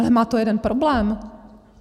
Ale má to jeden problém.